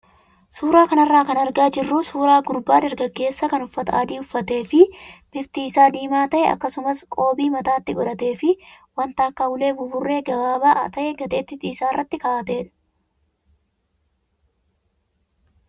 Suuraa kanarraa kan argaa jirru suuraa gurbaa dargaggeessaa kan uffata adii uffatee fi bifti isaa diimaa ta'e akkasumas qoobii mataatti godhatee fi wanta akka ulee buburree gabaabaa ta'e gateettii isaa irra kaa'atedha.